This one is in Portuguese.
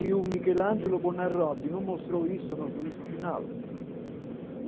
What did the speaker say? E o Michelangelo Bonarotti não mostrou isso no juízo final.